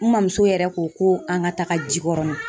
N mamuso yɛrɛ ko ko an ka taga JIKƆRƆNIN.